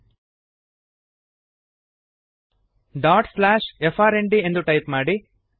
frnd dot slash friend ಎಂದು type ಮಾಡಿರಿ